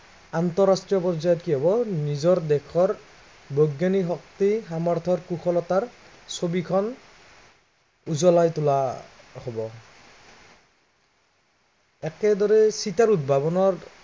আন্তঃৰাষ্ট্ৰীয় পৰ্যায়ত কি হ'ব নিজৰ দেশৰ, বৈজ্ঞানিক শক্তি সামৰ্থত কুশলতাৰ, ছবিখন, উজ্বলাই তোলা, হব একদৰেই চিটাৰ উদ্ভৱনাৰ